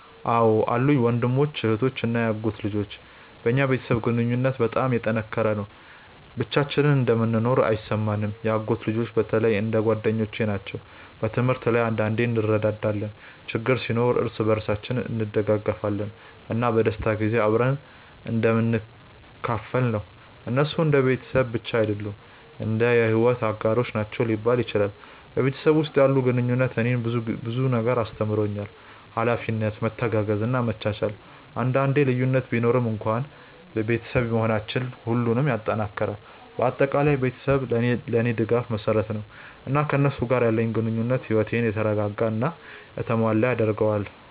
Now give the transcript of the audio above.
አዎን አሉኝ፤ ወንድሞች፣ እህቶች እና የአጎት ልጆች። በእኛ ቤተሰብ ግንኙነት በጣም የተጠናከረ ነው፣ ብቻችንን እንደምንኖር አይሰማንም። የአጎት ልጆቼ በተለይ እንደ ጓደኞቼ ናቸው። በትምህርት ላይ አንዳንዴ እንረዳዳለን፣ ችግር ሲኖር እርስ በርሳችን እንደግፋለን፣ እና በደስታ ጊዜ አብረን እንደምንካፈል ነው። እነሱ እንደ ቤተሰብ ብቻ አይደሉም፣ እንደ የሕይወት አጋሮች ናቸው ሊባል ይችላል። በቤተሰብ ውስጥ ያለው ግንኙነት እኔን ብዙ ነገር አስተምሮኛል፤ ኃላፊነት፣ መተጋገዝ እና መቻቻል። አንዳንዴ ልዩነት ቢኖርም እንኳን ቤተሰብ መሆናችን ሁሉንም ይጠናክራል። በአጠቃላይ ቤተሰቤ ለእኔ የድጋፍ መሰረት ነው፣ እና ከእነሱ ጋር ያለኝ ግንኙነት ሕይወቴን የተረጋጋ እና የተሞላ ያደርገዋል።